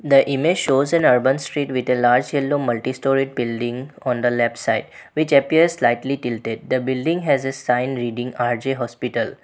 The image shows an urban Street with a large yellow multi storey building on the left side which appears slightly tilted. The building has a sign reading rj hospital.